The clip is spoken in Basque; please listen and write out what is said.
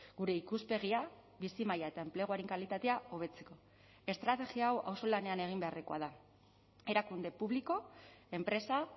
gure ikuspegia bizi maila eta enpleguaren kalitatea hobetzeko estrategia hau auzolanean egin beharrekoa da erakunde publiko enpresa